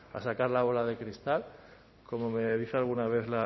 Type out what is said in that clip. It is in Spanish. a sacar la bola de cristal como me dice alguna vez